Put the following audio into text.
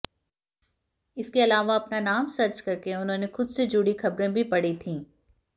इसके अलावा अपना नाम सर्च करके उन्होंने खुद से जुड़ी खबरें भी पढ़ी थीं